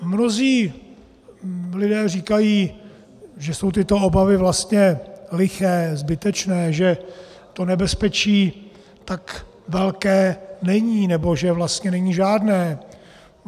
Mnozí lidé říkají, že jsou tyto obavy vlastně liché, zbytečné, že to nebezpečí tak velké není nebo že vlastně není žádné.